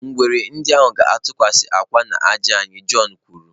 Ngwere ndị ahụ ga-atụkwasị akwa n'ájá anyị, john kwuru.